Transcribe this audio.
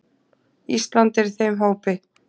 Ísland er í þeim hópi.